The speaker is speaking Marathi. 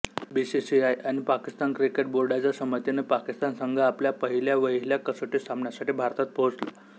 बीसीसीआय आणि पाकिस्तान क्रिकेट बोर्डाच्या संमतीने पाकिस्तान संघ आपल्या पहिल्या वहिल्या कसोटी सामन्यासाठी भारतात पोहोचला